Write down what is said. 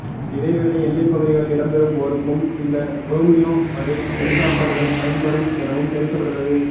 இதேவேளை எல்லைப் பகுதிகளில் இடம்பெறும் போருக்கும் இந்த ரோமியோ வகை ஹெலிஹொப்டர்கள் பயன்படும் எனவும் தெரிவிக்கப்பட்டுள்ளது